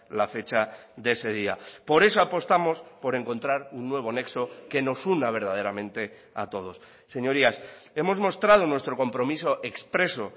la fecha de ese día por eso apostamos por encontrar un nuevo nexo que nos una verdaderamente a todos señorías hemos mostrado nuestro compromiso expreso